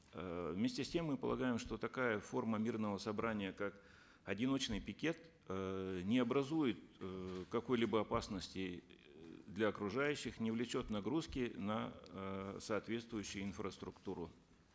э вместе с тем мы полагаем что такая форма мирного собрания как одиночный пикет эээ не образует э какой либо опасности э для окружающих не влечет нагрузки на э соответствующую инфраструктуру